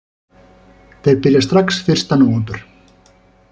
Þeir byrja strax fyrsta nóvember